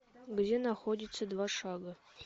где находится два шага